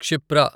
Kshipra